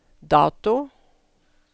dato